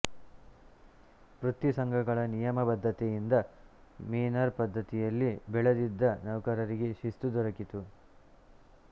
ವೃತ್ತಿಸಂಘಗಳ ನಿಯಮಬದ್ಧತೆಯಿಂದ ಮೇನರ್ ಪದ್ಧತಿಯಲ್ಲಿ ಬೆಳೆದಿದ್ದ ನೌಕರರಿಗೆ ಶಿಸ್ತು ದೊರಕಿತು